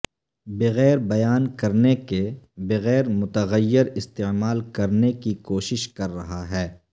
بغیر بیان کرنے کے بغیر متغیر استعمال کرنے کی کوشش کر رہا ہے